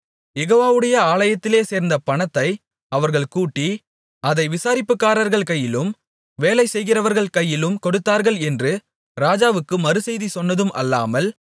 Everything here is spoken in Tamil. யெகோவாவுடைய ஆலயத்திலே சேர்ந்த பணத்தை அவர்கள் கூட்டி அதை விசாரிப்புக்காரர்கள் கையிலும் வேலை செய்கிறவர்கள் கையிலும் கொடுத்தார்கள் என்று ராஜாவுக்கு மறுசெய்தி சொன்னதும் அல்லாமல்